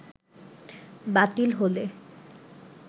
বাতিল হলে